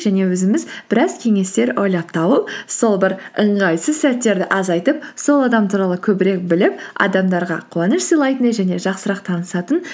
және өзіміз біраз кеңестер ойлап тауып сол бір ыңғайсыз сәттерді азайтып сол адам туралы көбірек біліп адамдарға қуаныш сыйлайтын және жақсырақ танысатын